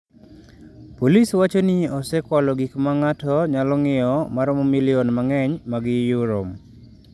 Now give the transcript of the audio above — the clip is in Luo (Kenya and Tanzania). Polis wacho ni osekwalo gik ma ng’ato nyalo ng’iewo ma romo milion mang’eny mag euro.